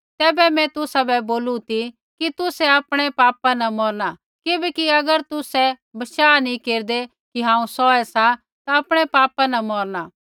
तैबै मैं तुसाबै बोलू ती कि तुसै आपणै पापा न मौरणा किबैकि अगर तुसै बशाह नी केरदै कि हांऊँ सौहै सा ता आपणै पापा न मौरणा